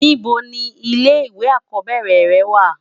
Nibò ni ilé iwé ákòbèrè rè wá?